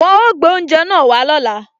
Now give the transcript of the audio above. Wọn ó gbé oúnjẹ náà wá lóla